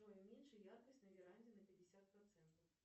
джой уменьши яркость на веранде на пятьдесят процентов